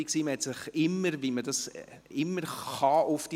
Man konnte sich immer auf sie verlassen.